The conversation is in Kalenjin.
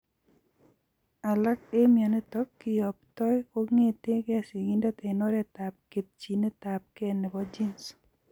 Alak eng' mionitok kiyoptoi kong'etege sigindet eng' oretab ketchinetabge nebo genes